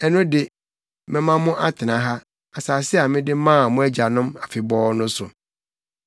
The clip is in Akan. ɛno de, mɛma mo atena ha, asase a mede maa mo agyanom afebɔɔ no so.